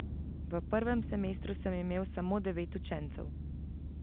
V prvem semestru sem imel samo devet učencev.